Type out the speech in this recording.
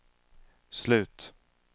slut